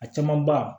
A caman ba